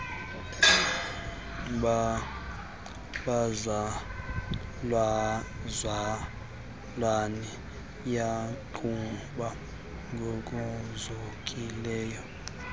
bazalwane yaqhuba ngokuzukileyo